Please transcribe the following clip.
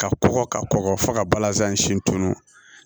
Ka kɔgɔ ka kɔgɔ fo ka balazan siɲɛ tunun